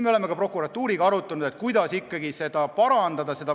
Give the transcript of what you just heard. Oleme prokuratuuriga arutanud, kuidas seda parandada.